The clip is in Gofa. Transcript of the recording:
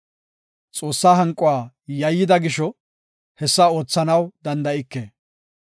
Xoossaa hanquwa yayyida gisho hessa oothanaw danda7ike.